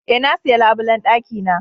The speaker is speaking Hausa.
E,na siya labulen dakina.